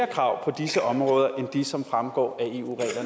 krav på disse områder det som fremgår